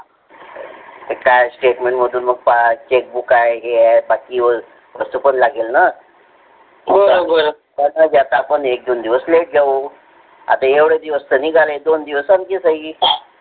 काय statement मधून अजून पास chak book आहे असं पण लागेल ना हो एवढे दिवस निघाले न दोन दिवस आणखी सही